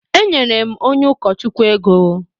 Enyere m onye ụkọchukwu ego.